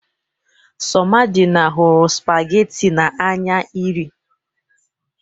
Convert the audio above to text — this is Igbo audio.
Somadina hụrụ spagatin n'anya iri